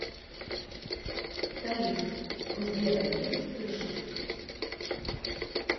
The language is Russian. салют у сбера есть крыша